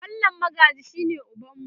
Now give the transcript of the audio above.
mallam Magaji shine ubanmu